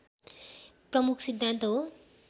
प्रमुख सिद्धान्त हो